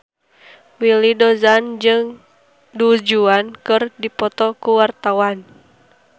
Willy Dozan jeung Du Juan keur dipoto ku wartawan